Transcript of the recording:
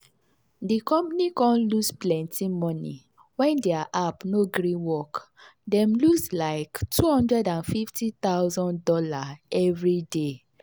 the company con lose plenty money when their app no gree work dem lose like two hundred and fifty thousand dollars every day.